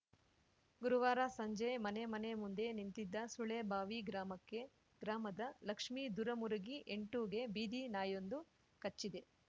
ಗುರುವಾರ ಸಂಜೆ ಮನೆ ಮನೆ ಮುಂದೆ ನಿಂತಿದ್ದ ಸುಳೆಬಾವಿ ಗ್ರಾಮಕ್ಕೆ ಗ್ರಾಮದ ಲಕ್ಷ್ಮಿ ದುರುಮುರಗಿ ಎಂಟುಗೆ ಬೀದಿ ನಾಯೊಂದು ಕಚ್ಚಿದೆ